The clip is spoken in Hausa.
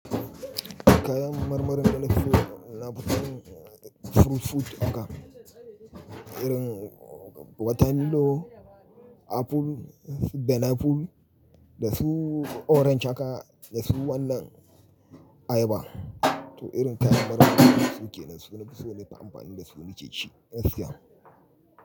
Kayan marmarin da nafi son fruit fruit haka, irin water melon, apple, pineapple da su orange haka da su wannan ayaba to irin kayan marmarin su ke nan. Su na fi so na fi amfani da su nake ci na siya.